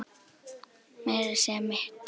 Meira að segja mitt